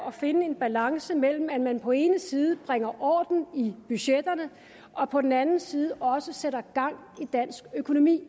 at finde en balance mellem at man på den ene side bringer orden i budgetterne og på den anden side også sætter gang i dansk økonomi